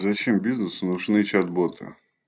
зачем бизнесу нужны чат боты